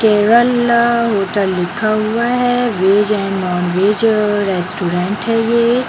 केवल होटल लिखा हुआ है veg and non veg restaurant है ये ।